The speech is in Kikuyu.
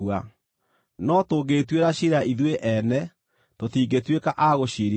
No tũngĩĩtuĩra ciira ithuĩ ene, tũtingĩtuĩka a gũciirithio.